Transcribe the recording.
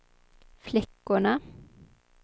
flickorna